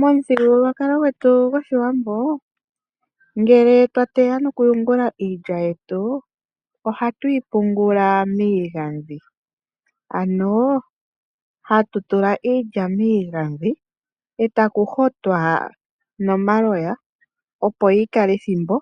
Momuthigululwakalo gwetu gOshiwambo, ngele twa teya nokuyungula iilya yetu, ohatu yi pungula miigandhi. Hatu tula iilya yetu miigandhi,e taku hotwa nomaloya, opo yi kale ethimbo,